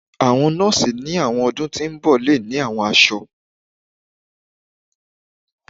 Awọn nọọsi ni awọn ọdun ti n bọ le ni awọn aṣọ